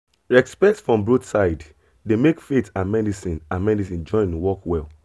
respect from both side dey make faith and medicine and medicine join work well